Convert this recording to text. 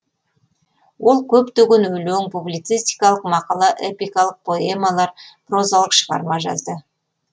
ол көптеген өлең публицистикалық мақала эпикалық поэмалар прозалық шығармалар жазды